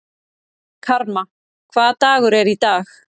Karma, hvaða dagur er í dag?